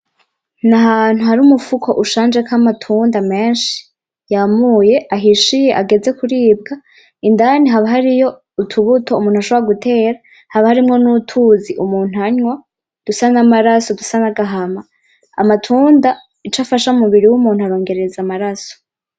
N'ahantu hari umufuko ushanjeko amatunda meshi yamuye ahishiye ageze kuribwa indani haba hariyo utubuto umuntu ashobora gutera haba harimwo n'utuzi umuntu anwa dusa n'amaraso dusa n'agahama amatunda ico afasha umubiri w'umuntu arongereza amaraso.